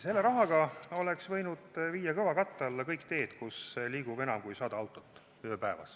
Selle rahaga oleks võinud viia kõvakatte alla kõik teed, kus liigub enam kui 100 autot ööpäevas.